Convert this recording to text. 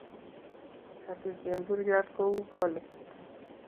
katuch temburyot kou polik